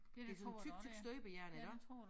Det sådan tyk tyk støbejern iggå